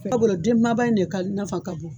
K'a bɔra den kunbaba in de nafa ka bon.